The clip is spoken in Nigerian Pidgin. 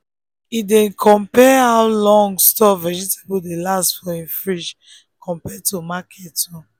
him dey compare how long store vegetable dey last for him fridge compared to market own.